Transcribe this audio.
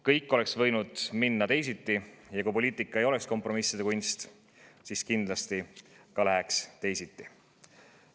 Kõik oleks võinud minna teisiti ja kui poliitika ei oleks kompromisside kunst, siis kindlasti ka läheks teisiti.